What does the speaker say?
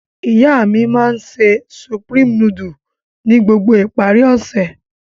Iya mi ma n se Supreme nudulu ni gbogbo ipari ose.